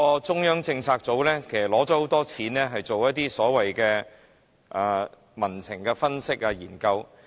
中策組獲多項撥款進行所謂民情分析和研究。